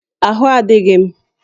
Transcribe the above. Ahụ adịghị m